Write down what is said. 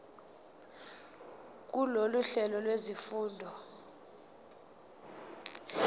kulolu hlelo lwezifundo